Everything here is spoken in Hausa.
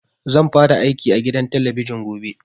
Zan fara aiki a gidan talabijin gobe